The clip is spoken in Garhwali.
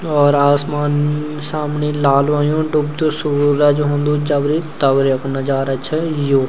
और आसमान सामणी लाल हुयू डुबतू सूरज हुंदू जबरि तबरी येकु नजारा च यो।